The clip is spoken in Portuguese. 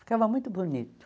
Ficava muito bonito.